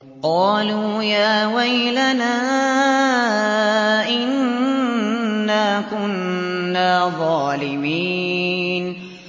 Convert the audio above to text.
قَالُوا يَا وَيْلَنَا إِنَّا كُنَّا ظَالِمِينَ